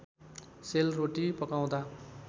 sale roti पकाउँदा